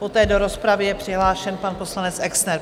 Poté do rozpravy je přihlášen pan poslanec Exner.